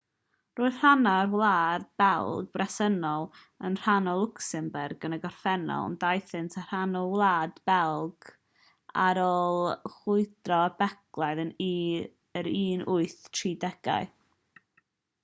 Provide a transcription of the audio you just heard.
roedd rhannau o'r wlad belg bresennol yn rhan o lwcsembwrg yn y gorffennol ond daethant yn rhan o wlad belg ar ôl chwyldro belgaidd yr 1830au